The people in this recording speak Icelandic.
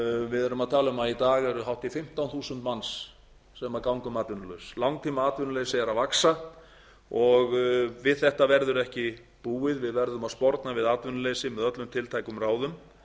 við erum að tala um að í dag eru hátt í fimmtán þúsund manns sem ganga um atvinnulaus langtímaatvinnuleysi er að vaxa og við þetta verður ekki búið við verðum að sporna við atvinnuleysi með öllum tiltækum ráðum